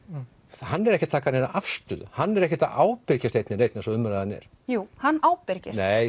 hann er ekki að taka neina afstöðu hann er ekkert að ábyrgjast einn né neinn eins og umræðan er jú hann ábyrgist nei